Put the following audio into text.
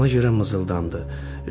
Ona görə mızıldandı.